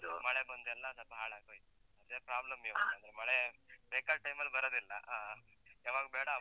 ಮಳೆ ಬಂದೆಲ್ಲ ಸ್ವಲ್ಪ ಹಾಳಾಗ್ ಹೋಯ್ತು, ಅದೇ problem ಇವಾಗಂದ್ರೆ, ಮಳೆ ಬೇಕಾದ್ time ಲ್ಲಿ ಬರದಿಲ್ಲ ಆ, ಯಾವಾಗ್ ಬೇಡ ಆವಾಗ್.